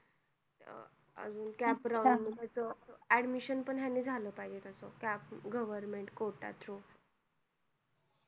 अह admission पण तेच ह्यांनी झालं पाहिजे त्याच government कोटा तुन